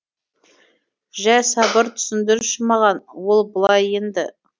жә сабыр түсіндірші маған ол былай енді